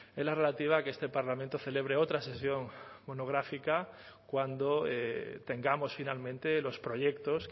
es la relativa a que este parlamento celebre otra sesión monográfica cuando tengamos finalmente los proyectos